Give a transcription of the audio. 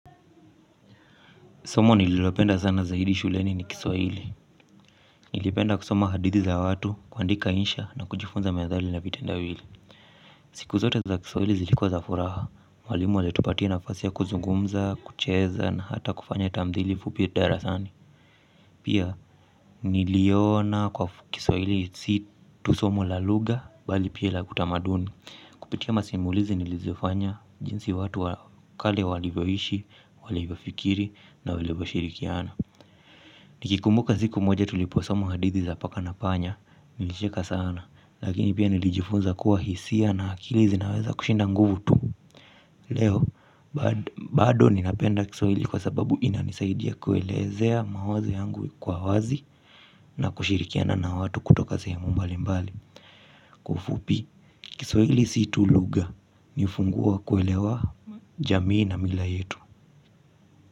Somo nililopenda sana zaidi shuleni ni kiswahili. Nilipenda kusoma hadithi za watu kuandika insha na kujifunza methali na vitendawili. Siku zote za kiswahili zilikuwa za furaha. Walimu walitupatia nafasi ya kuzungumza, kucheza na hata kufanya tamthili fupi darasani. Pia niliona kwa kiswahili si tu somo la lugha bali pia la kutamaduni. Kupitia masimulizi nilizofanya jinsi watu wakale walivyoishi, walivyofikiri na walivyoshirikiana. Nikikumbuka ziku moja tuliposoma hadithi za paka na panya nilicheka sana. Lakini pia nilijifunza kuwa hisia na akili zinaweza kushinda nguvu tu leo. Bado ninapenda kiswahili kwa sababu inanisaidia kuelezea mawazo yangu kwa wazi na kushirikiana na watu kutoka sehemu mbali mbali kwa ufupi. Kiswahili si tu lugha ni ufunguo wa kuelewa jamii na mila yetu.